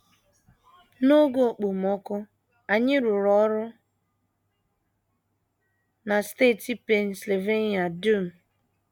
N’oge okpomọkụ, anyị rụrụ ọrụ na steeti Pennsylvania dum.